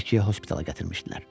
Bakıya hospitala gətirmişdilər.